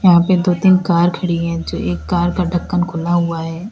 आगे दो तीन कार खड़ी है जो एक कार का ढक्कन खुला हुआ है।